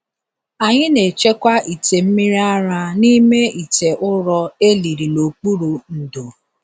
Anyị na-echekwa ite mmiri ara n’ime ite ụrọ e liri n’okpuru ndo.